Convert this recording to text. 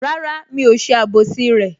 Rárá, mi ò ṣe àbòsí rẹ